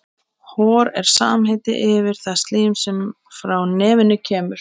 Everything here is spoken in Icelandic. Veit ekki með erlenda leikmanninn sem þeir fengu, hefur lítið spilað.